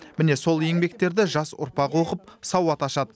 міне сол еңбектерді жас ұрпақ оқып сауат ашады